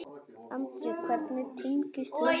Andri: Hvernig tengist þú þessu?